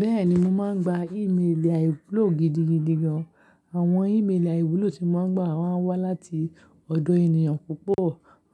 Bẹ́ẹ̀ni, mo máa ń gba ìméèlà ìwúlò gidigidi gan. Àwọn ìméèlà aìwúlò tí mo máa ń gba maa n wá láti ọ̀dọ̀ ènìyàn púpọ̀.